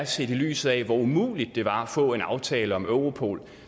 set i lyset af hvor umuligt det var at få en aftale om europol